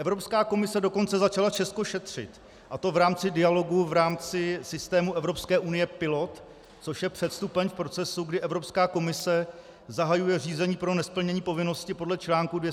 Evropská komise dokonce začala Česko šetřit, a to v rámci dialogu, v rámci systému Evropské unie Pilot, což je předstupeň v procesu, kdy Evropská komise zahajuje řízení pro nesplnění povinnosti podle čl. 258 SFEU.